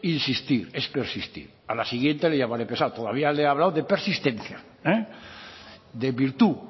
insistir es persistir a la siguiente le llamaré pesado todavía le he hablado de persistencia de virtud